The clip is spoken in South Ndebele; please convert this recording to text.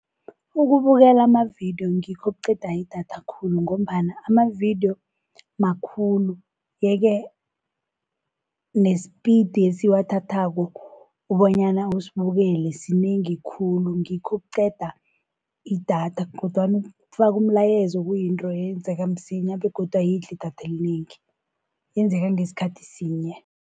Ukubukela amavidiyo ngikho okuqeda idatha khulu, ngombana amavidiyo makhulu yeke nesipidi esiwathathako bonyana usibukele sinengi khulu ngikho okuqeda idatha. Kodwana ukufaka umlayezo kuyinto eyenzeka msinya begodu ayidli idatha elinengi yenzeka ngesikhathi sinye.